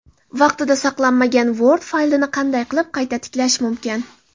Vaqtida saqlanmagan Word faylini qanday qilib qayta tiklash mumkin?.